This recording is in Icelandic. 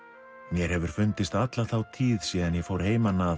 mér hefur fundist alla þá tíð síðan ég fór heiman að